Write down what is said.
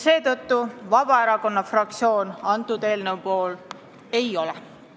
Seetõttu Vabaerakonna fraktsioon selle eelnõu poolt ei ole.